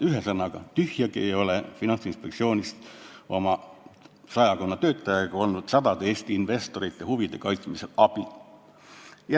Ühesõnaga, tühjagi ei ole Finantsinspektsioonist ja tema sadakonnast töötajast olnud sadade Eesti investorite huvide kaitsmisel abi.